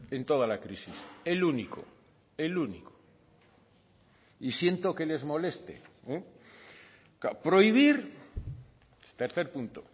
en toda la crisis el único el único y siento que les moleste prohibir tercer punto